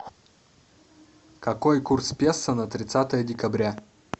какой курс песо на тридцатое декабря